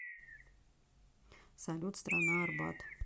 салют страна арбат